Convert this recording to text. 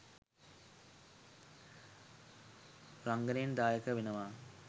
රංගනයෙන් දායක වෙනවා.